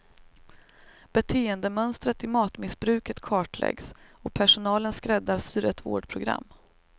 Beteendemönstret i matmissbruket kartläggs och personalen skräddarsyr ett vårdprogram.